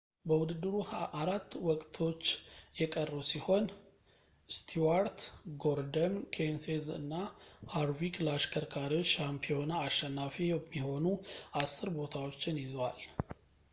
በውድድሩ አራት ወቅቶችች የቀሩ ሲሆን ስቲዋርት ጎርደን ኬንሴዝ እና ሃርቪክ ለአሽከርካሪዎች ሻምፒዮና አሸናፊ የሚሆኑ አስር ቦታዎችን ይዘዋል